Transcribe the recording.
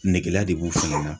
Negela de b'u fɛnɛ na